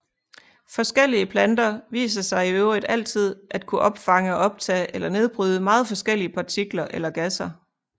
Forskellige planter viser sig i øvrigt altid at kunne opfange og optage eller nedbryde meget forskellige partikler eller gasser